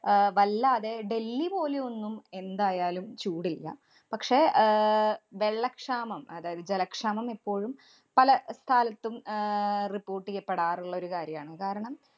അഹ് വല്ലാതെ ഡൽഹി പോലും ഒന്നും എന്തായാലും ചൂടില്ല. പക്ഷേ, ആഹ് വെള്ളക്ഷാമം അതായത് ജലക്ഷാമം ഇപ്പോഴും പലസ്ഥലത്തും ആഹ് report ചെയ്യപ്പെടാറുള്ളൊരു കാര്യാണ്. കാരണം,